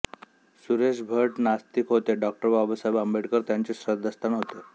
सुरेश भट नास्तिक होते डॉ बाबासाहेब आंबेडकर त्यांचे श्रद्धास्थान होते